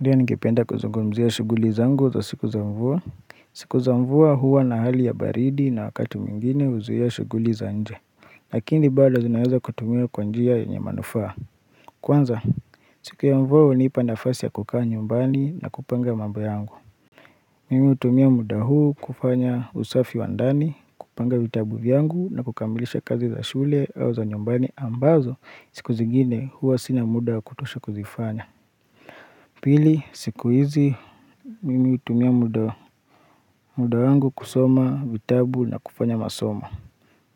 Ndio ningependa kuzungumzia shughuli zangu za siku za mvua. Siku za mvua huwa na hali ya baridi na wakati mwingine huzuia ya shughuli za nje. Lakini bado zinaweza kutumiwa kwa njia yenye manufaa. Kwanza, siku ya mvua hunipa nafasi ya kukaa nyumbani na kupanga mambo yangu. Mimi hutumia muda huu kufanya usafi wa ndani, kupanga vitabu vyangu na kukamilisha kazi za shule au za nyumbani ambazo siku zingine huwa sina muda wa kutosha kuzifanya. Pili, siku hizi. Mimi hutumia muda. Muda wangu kusoma vitabu na kufanya masomo.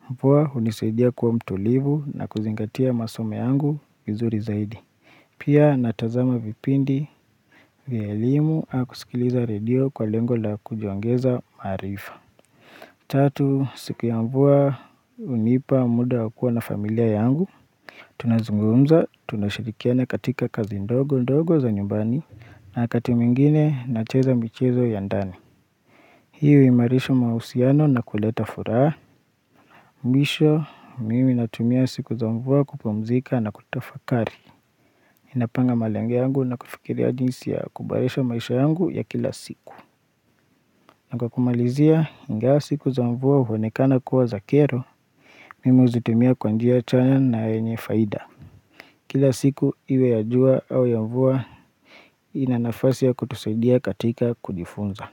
Mvua hunisaidia kuwa mtulivu na kuzingatia masomo yangu vizuri zaidi. Pia natazama vipindi vya elimu au kusikiliza radio kwa lengo la kujiongeza maarifa. Tatu siku ya mvua hunipa muda wa kuwa na familia yangu. Tunazungumza tunashirikiana katika kazi ndogo ndogo za nyumbani na wakati mwingine nacheza michezo ya ndani. Hiyo huimarisha mahusiano na kuleta furaha. Mwisho, mimi natumia siku za mvua kupumzika na kutafakari. Napanga malengo yangu na kufikiria jinsi ya kubadilisha maisha yangu ya kila siku. Na kwa kumalizia ingawa siku za mvua huonekana kuwa za kero. Mimi huzitumia kwa njia chanya na yenye faida. Kila siku iwe ya jua au ya mvua ina nafasi ya kutusaidia katika kujifunza.